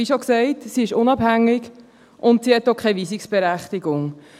Wie schon gesagt: Sie ist unabhängig und hat auch keine Weisungsberechtigung.